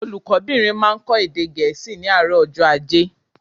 Olùkó bìnrin máa n kó èdè Gẹ̀ẹ́sì ní àárò ọjó ajé